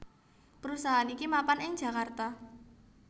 Perusahaan iki mapan ing Jakarta